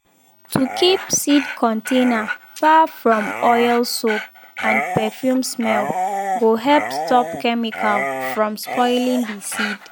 to keep seed container far from oil soap and perfume smell go help stop chemical from spoiling the seed.